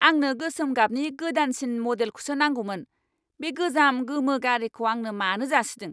आंनो गोसोम गाबनि गोदानसिन मडेलखौसो नांगौमोन। बे गोजाम गोमो गारिखौ आंनो मानो जासिदों!